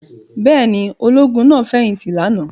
Bẹ́ẹ̀ ni, ológun náà fẹ̀yìntì lánàá.